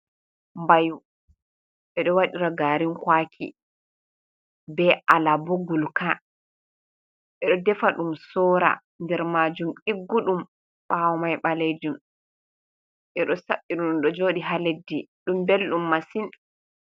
Bayu ɓeɗo waɗira garin kwaki be alabo gurka ɓeɗo defa ɗum sora, nder majum diggu ɗum, ɓawo mai ɓalajum ɓeɗo saɓɓi ɗum ɗo joɗi ha leddi, ɗum ɓelɗum massin.